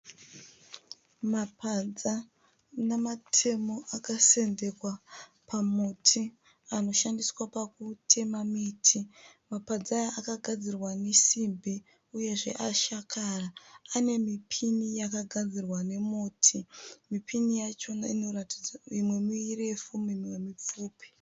Mapadza namatemo akasendekwa pamuti anoshandiswa pakutema miti, mapadza aya akagadzirwa nesimbi uyezve ashakara ,ane mipini yakagadzirwa nemiti, mipini yacho imwe mirefu imwe mipfupi.